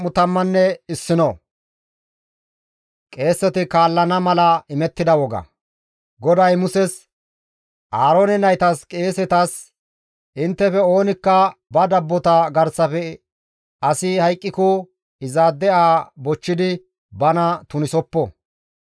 GODAY Muses, «Aaroone naytas qeesetas, ‹Inttefe oonikka ba dabbota garsafe asi hayqqiko izaade aha bochchidi bana tunisoppo.